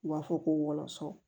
U b'a fɔ ko wɔlɔsɔ